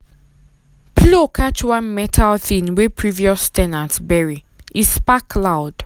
plow catch one metal thing wey previous ten ant bury e spark loud.